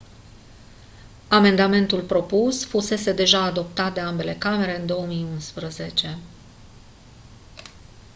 amendamentul propus fusese deja adoptat de ambele camere în 2011